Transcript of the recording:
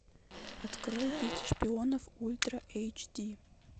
открой дети шпионов ультра эйч ди